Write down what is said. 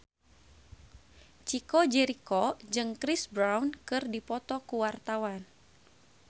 Chico Jericho jeung Chris Brown keur dipoto ku wartawan